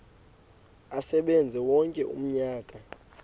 asebenze wonke umnyaka